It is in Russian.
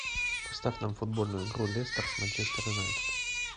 поставь нам футбольную игру лестер с манчестер юнайтед